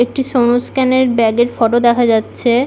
একটি সনস্ক্যান -এর ব্যাগ -এর ফটো দেখা যাচ্ছে।